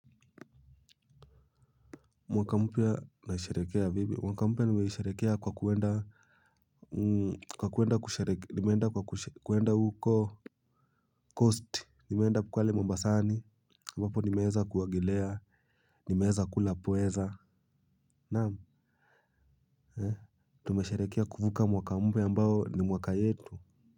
Mwaka mpya naisherekea vipi, mwaka mpya nimeisherekea kwa kuenda, nimeenda kwa kuenda huko Kosti, nimeenda pale mombasani, ambapo nimeweza kuogelea, nimeweza kula pweza. Naam, eh, tumeisherekea kuvuka mwaka mpya ambao ni mwaka yetu.